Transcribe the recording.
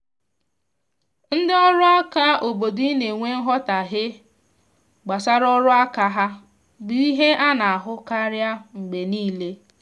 ndị ọrụ aka obodo i na enwe nghotahie gbasara ọrụ aka ha bụ ihe ana ahụ karịa mgbe niile